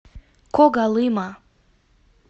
когалыма